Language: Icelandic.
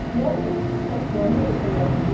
Mjallhvít, slökktu á niðurteljaranum.